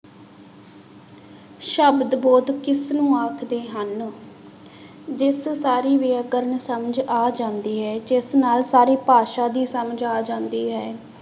ਸ਼ਬਦ ਬੋਧ ਕਿਸਨੂੰ ਆਖਦੇ ਹਨ ਜਿਸ ਸਾਰੀ ਵਿਆਕਰਨ ਸਮਝ ਆ ਜਾਂਦੀ ਹੈ, ਜਿਸ ਨਾਲ ਸਾਰੀ ਭਾਸ਼ਾ ਦੀ ਸਮਝ ਆ ਜਾਂਦੀ ਹੈ।